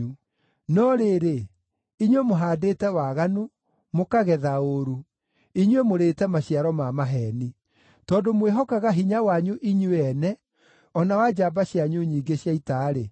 No rĩrĩ, inyuĩ mũhaandĩte waganu, mũkagetha ũũru; inyuĩ mũrĩĩte maciaro ma maheeni. Tondũ mwĩhokaga hinya wanyu inyuĩ ene, o na wa njamba cianyu nyingĩ cia ita-rĩ,